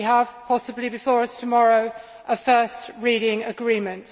we possibly have before us tomorrow a first reading agreement.